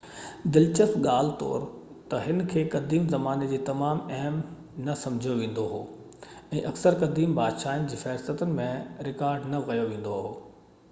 دلچسپ ڳالهه طور ته هن کي قديم زماني ۾ تمام اهم نه سمجهيو ويندو هو ۽ اڪثر قديم بادشاهن جي فهرستن ۾ رڪارڊ نه ڪيو ويندو هو